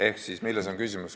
Ehk milles on küsimus?